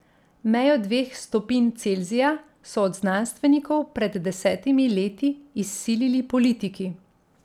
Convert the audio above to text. Mejo dveh stopinj Celzija so od znanstvenikov pred desetimi leti izsilili politiki.